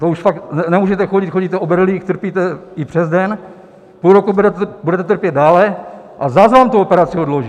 To už fakt nemůžete chodit, chodíte o berlích, trpíte i přes den, půlroku budete trpět dále, a zas vám tu operaci odloží.